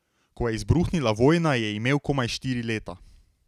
Ko je izbruhnila vojna, je imel komaj štiri leta.